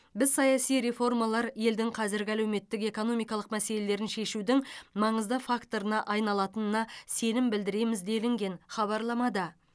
біз саяси реформалар елдің қазіргі әлеуметтік экономикалық мәселелерін шешудің маңызды факторына айналатынына сенім білдіреміз делінген хабарламада